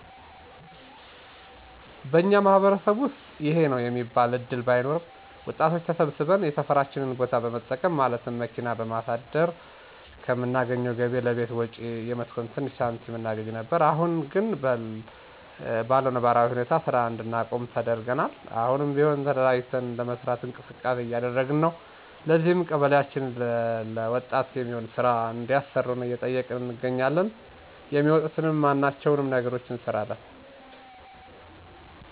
በኛ ማህበረሰብ ውስጥ ይሄ ነው የሚባል እድል ባይኖርም ወጣቶች ተሰብስበን የሰፈራችንን ቦታ በመጠቀም ማለትም መኪና በማሳደር ከምናገኘው ገቢ ለቤት ወጭ የምትሆን ትንሽ ሳንቲም እናገኝ ነበር። አሁን ግን በለው ነባራዊ ሁኔታ ስራ እንድናቆም ተደርገናል። አሁንም ቢሆን ተደራጅተን ለመስራት እንቅስቃሴ እያደረግን ነው። ለዚህም ቀበሊያችንን ለወጣት የሚሆን ስራ እንዲያሰሩን እየጠየቅን እንገኛለን። የሚመጡትን ማነኛውም ነገሮች እንሰራለን።